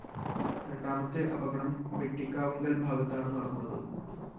രണ്ടാമത്തെ അപകടം വെട്ടിക്കാവുങ്കല്‍ ഭാഗത്താണ് നടന്നത്